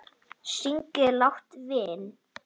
Syrgið látinn vin!